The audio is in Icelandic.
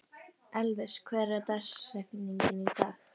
Elvis, hver er dagsetningin í dag?